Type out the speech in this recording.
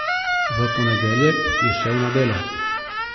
V ponedeljek je šel na delo.